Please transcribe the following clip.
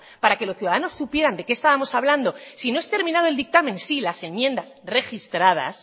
para que los ciudadanos supieran de qué estábamos hablando si no es terminado el dictamen sí las enmiendas registradas